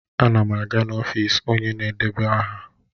Ana m aga n'ọfịs onye na-edeba aha.